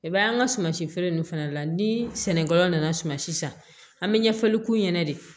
I b'a ye an ka suman si feere ninnu fana la ni sɛnɛkɛlaw nana sumansi san an bɛ ɲɛfɔli k'u ɲɛna de